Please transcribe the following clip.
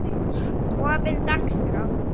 opin dagskrá